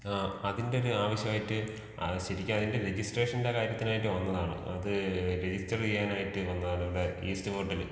ആ അതിൻറെ ഒരു ആവശ്യമായിട്ട്. ആ ശരിക്ക് അതിൻറെ രജിസ്ട്രേഷൻറെ കാര്യത്തിനായിട്ട് വന്നതാണ് .അത് രജിസ്റ്റർ ചെയ്യാനായിട്ട് വന്നതാണ് ഇവിടെ ഈസ്റ്റ് പോർട്ടിൽ.